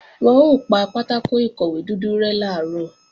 Wọn ó pa pátákò ìkọ̀wé dúdú rẹ́ làárọ̀